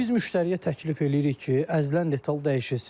Biz müştəriyə təklif eləyirik ki, əzilən detal dəyişilsin.